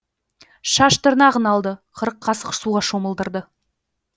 шаш тырнағын алды қырық қасық суға шомылдырды